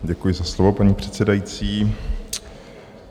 Děkuji za slovo, paní předsedající.